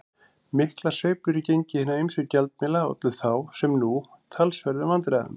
Miklar sveiflur í gengi hinna ýmsu gjaldmiðla ollu þá, sem nú, talsverðum vandræðum.